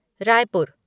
Raipur